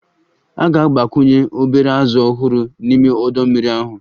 A ga-agbakwunye obere azụ ọhụrụ n'ime ọdọ mmiri ahụ